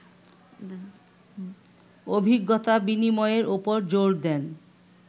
অভিজ্ঞতা বিনিময়ের ওপর জোর দেন